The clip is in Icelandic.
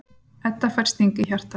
Edda fær sting í hjartað.